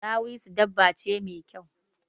Dawisu dabba ce mai kyau.